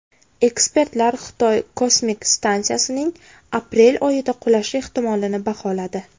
Ekspertlar Xitoy kosmik stansiyasining aprel oyida qulashi ehtimolini baholadi.